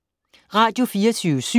Radio24syv